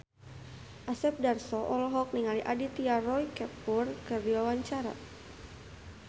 Asep Darso olohok ningali Aditya Roy Kapoor keur diwawancara